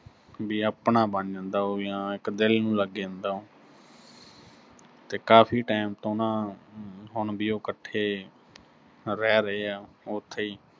ਵੀ ਆਪਣਾ ਬਣ ਜਾਂਦਾ ਉਹ ਜਾਂ ਇੱਕ ਦਿਲ ਨੂੰ ਲੱਗ ਜਾਂਦਾ ਤੇ ਕਾਫ਼ੀ time ਤੋਂ ਨਾ ਅਹ ਅਮ ਹੁਣ ਵੀ ਉਹ, ਇਕੱਠੇ ਰਹਿ ਰਹੇ ਆ, ਉਥੇ ਈ